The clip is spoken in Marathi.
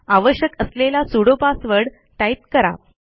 आवश्यक असलेला सुडो पासवर्ड टाईप करा